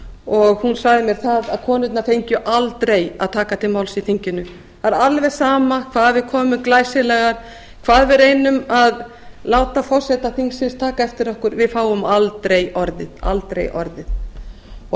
og hún sagði mér það að konurnar fengju aldrei að taka til máls í þinginu það er alveg sama hvað við konur erum glæsilegar hvað við reynum að láta forseta þingsins taka eftir okkur við fáum aldrei orðið